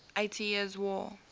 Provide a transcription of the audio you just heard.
eighty years war